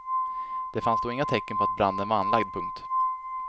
Det fanns då inga tecken på att branden var anlagd. punkt